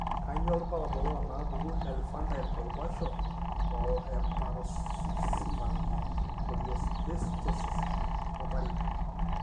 Kainyio irbulabul onaapuku eInfantile convulsions o eparoxysmal choreoathetosis, olmarei?